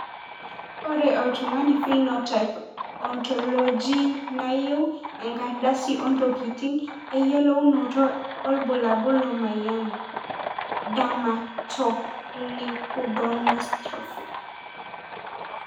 ore oltungani Phenotype Ontologyneyau enkardasi ontokitin eyuolounoto olbulabul lemoyian. Dermatoleukodystrophy.